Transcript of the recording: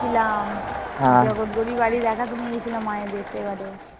ছিলাম। জগত ঘুরিয়ে বাড়ি দেখাতে নিয়ে গেছিল মায়েদের সেবারে।